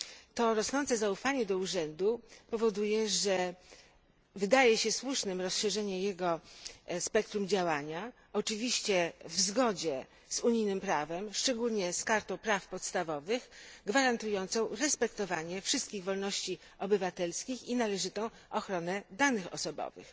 To rosnące zaufanie do urzędu powoduje, że wydaje się słuszne rozszerzenie jego spektrum działania, oczywiście w zgodzie z unijnym prawem, szczególnie z Kartą praw podstawowych gwarantującą respektowanie wszystkich wolności obywatelskich i należytą ochronę danych osobowych.